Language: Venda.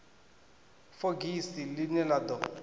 fogisi ḽi ne ḽa ḓo